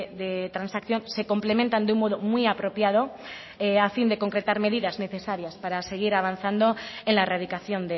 de transacción se complementan de un modo muy apropiado a fin de concretar medidas necesarias para seguir avanzando en la erradicación